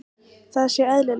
Það sé eðlilegt.